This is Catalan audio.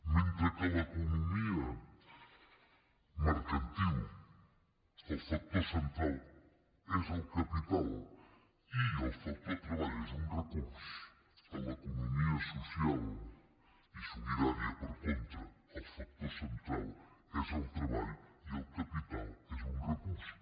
mentre que a l’economia mercantil el factor central és el capital i el factor treball és un recurs a l’economia social i solidària per contra el factor central és el treball i el capital és un recurs